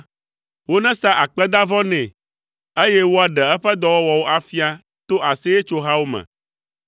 Wonesa akpedavɔ nɛ, eye woaɖe eƒe dɔwɔwɔwo afia to aseyetsohawo me.